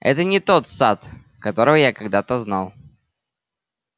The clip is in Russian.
это не тот сатт которого я когда-то знал